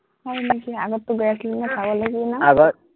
হয় নেকি, আগততো গৈ আছিলো ন, চাবলৈ গৈছিলি ন